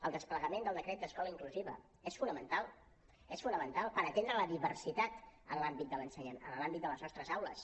el desplegament del decret d’escola inclusiva és fonamental és fonamental per atendre la diversitat en l’àmbit de les nostres aules